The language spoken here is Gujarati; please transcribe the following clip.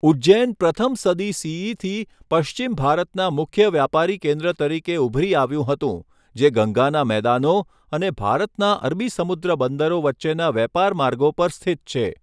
ઉજ્જૈન પ્રથમ સદી સીઈથી પશ્ચિમ ભારતના મુખ્ય વ્યાપારી કેન્દ્ર તરીકે ઉભરી આવ્યું હતું, જે ગંગાના મેદાનો અને ભારતના અરબી સમુદ્ર બંદરો વચ્ચેના વેપાર માર્ગો પર સ્થિત છે.